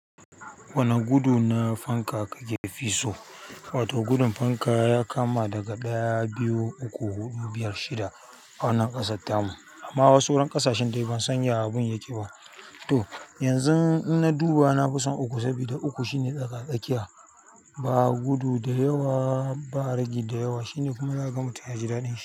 Wane gudu na fanka kake fi so? Wato gudun fanka ya kama daga ɗaya, biyu, uku, huɗu, biyar, shida a wannan ƙasa tamu. Amma wasu wurin ƙasashen dai ban san ya abun yake ba. To yanzu ina duba na fi son uku saboda uku shine tsaka-tsakiya. Ba gudu da yawa, ba ragi da yawa, shine kuma na zaka ga ma mutum yaji daɗin shi.